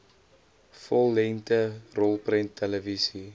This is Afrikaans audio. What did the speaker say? vollengte rolprent televisie